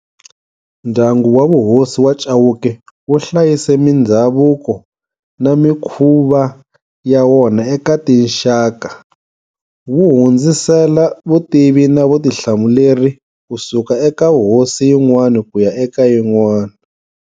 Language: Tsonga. Ndyangu wa vuhosi wa Chauke wu hlayise mindhavuko na mikhuva ya wona eka tinxaka, wu hundzisela vutivi na vutihlamuleri ku suka eka hosi yin'wana ku ya eka yin'wana.